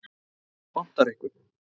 Vantar einhvern?